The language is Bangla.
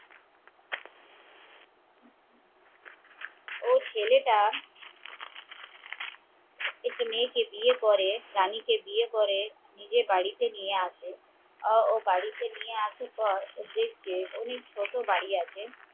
ওই ছেলেটা একটি মেয়েকে বিয়ে করে, রানীকে বিয়ে করে নিজের বাড়িতে নিয়ে আসে ও নিজে বাড়িতে নিয়ে আসে দেখে